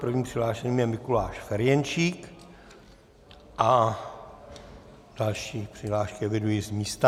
Prvním přihlášeným je Mikuláš Ferjenčík a další přihlášky eviduji z místa.